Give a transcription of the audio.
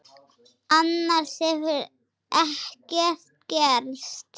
Annars hefur ekkert gerst